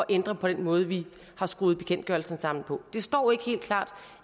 ændre på den måde vi har skruet bekendtgørelsen sammen på det står ikke helt klart